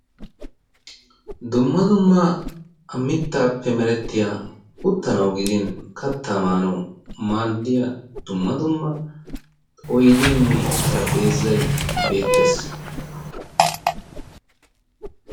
Dumma dumma mittaappe oosettiya uttanawu gidin kattaa maanawu maaddiya dumma dumma oydeenne xaraphpheezay beettees.